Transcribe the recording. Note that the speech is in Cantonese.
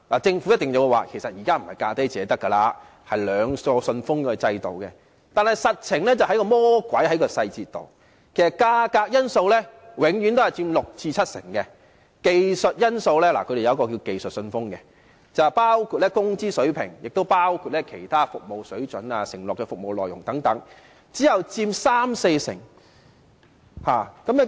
政府一定會表示現時已經不是"價低者得"，而是採用"兩個信封"的制度，但實際上，魔鬼在細節當中，其實價格因素永遠佔六成至七成，技術因素——他們有一個名為"技術信封"——包括工資水平、其他服務水準和承諾的服務內容等，只佔三成至四成。